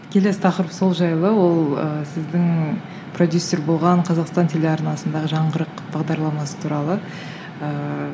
келесі тақырып сол жайлы ол ыыы сіздің продюссер болған қазақстан телеарнасындағы жаңғырық бағдарламасы туралы ыыы